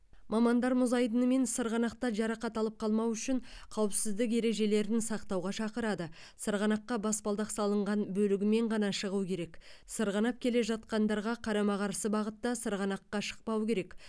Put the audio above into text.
мамандар мұз айдыны мен сырғанақта жарақат алып қалмау үшін қауіпсіздік ережелерін сақтауға шақырады сырғанаққа баспалдақ салынған бөлігімен ғана шығу керек сырғанап келе жатқандарға қарама қарсы бағытта сырғанаққа шықпау керек